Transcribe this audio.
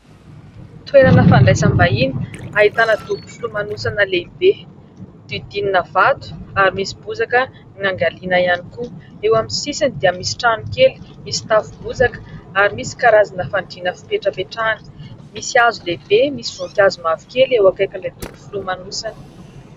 Toenana fandraisam-bahiny, ahitana dobo filomanosana lehibe, diodinina vato ary misy bozaka niangaliana ihany koa. Eo amin'ny sisiny dia misy trano kely misy tafo bozaka ary misy karazana fandrina fipetrapetrahana. Misy hazo lehibe, misy voninkazo mavokely eo ankaikin'ilay dobo filomanosana.